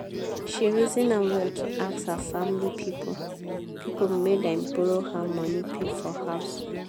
she reason am well to ask her family pipo pipo make dem borrow her money pay for house.